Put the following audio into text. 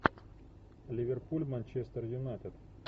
ливерпуль манчестер юнайтед